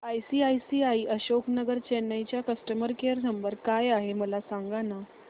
ICICI Ashok Nagar Chennai चा customer care number काय आहे मला सांगाना